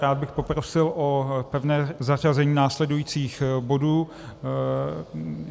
Rád bych poprosil o pevné zařazení následujících bodů.